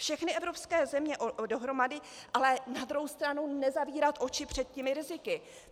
Všechny evropské země dohromady, ale na druhé straně nezavírat oči před těmi riziky.